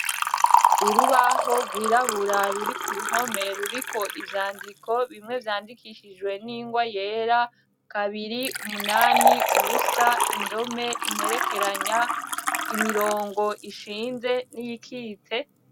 Urubaho gwirabura ruri k'uruhome ruriko ivyandiko bimwe vyandikishijwe n'ingwa yera ,kabiri, umunani ,ubusa ,indome, imperekeranya, imirongo ishinze n'iyikitse.